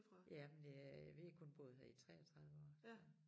Ja men øh vi har kun boet her i 33 år så